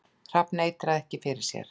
Hrafn eitraði ekki fyrir sér